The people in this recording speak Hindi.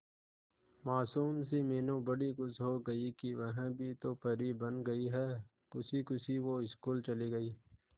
मासूम सी मीनू बड़ी खुश हो गई कि वह भी तो परी बन गई है खुशी खुशी वो स्कूल चली गई